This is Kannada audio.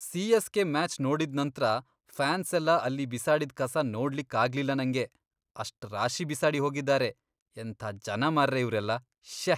ಸಿ.ಎಸ್.ಕೆ. ಮ್ಯಾಚ್ ನೋಡಿದ್ ನಂತ್ರ ಫ್ಯಾನ್ಸೆಲ್ಲ ಅಲ್ಲಿ ಬಿಸಾಡಿದ್ ಕಸ ನೋಡ್ಲಿಕ್ಕಾಗ್ಲಿಲ್ಲ ನಂಗೆ, ಅಷ್ಟ್ ರಾಶಿ ಬಿಸಾಡಿ ಹೋಗಿದಾರೆ, ಎಂತ ಜನ ಮಾರ್ರೆ ಇವ್ರೆಲ್ಲ.. ಶ್ಯೇ..!